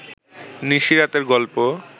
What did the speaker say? নিশি রাতের গল্প